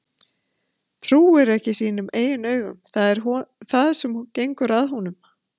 Trúir ekki sínum eigin augum, það er það sem gengur að honum